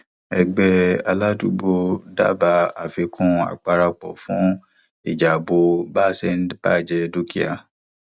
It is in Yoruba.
ẹgbẹ aládùúgbò dábàá àfikún apàráàro fún ìjábo bá a ṣe ń baje dúkìá